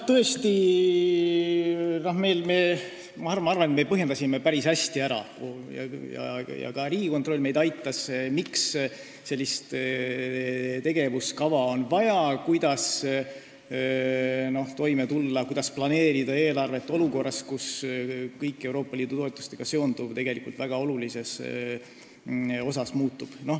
Tõesti, ma arvan, et me põhjendasime päris hästi ära – ka Riigikontroll meid aitas –, miks on vaja sellist tegevuskava, kuidas toime tulla ja kuidas planeerida eelarvet olukorras, kus kõik Euroopa Liidu toetustega seonduv tegelikult väga olulises osas muutub.